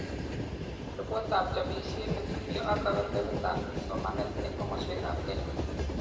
Repotitab chobishet netubcho ak kebebertaab somanet eng komoswekab Kenya